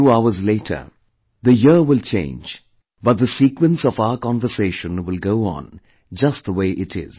A few hours later, the year will change, but this sequence of our conversation will go on, just the way it is